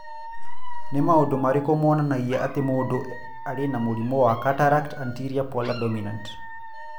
Nĩ maũndũ marĩkũ monanagia atĩ mũndũ arĩ na mũrimũ wa Cataract anterior polar dominant?